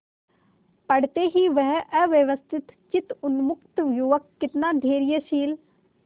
पड़ते ही वह अव्यवस्थितचित्त उन्मत्त युवक कितना धैर्यशील